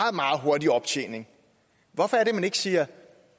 hurtig optjening hvorfor er det at man ikke siger